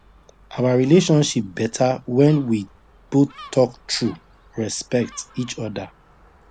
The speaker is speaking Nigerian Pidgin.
our relationship better when we both talk true respect each other